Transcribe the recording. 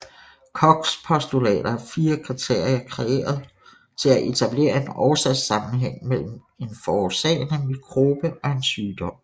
Kochs postulater er fire kriterier kreeret til at etablere en årsagssammenhæng mellem en forårsagende mikrobe og en sygdom